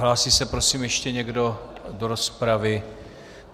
Hlásí se, prosím, ještě někdo do rozpravy?